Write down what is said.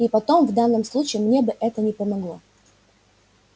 и потом в данном случае мне бы это не помогло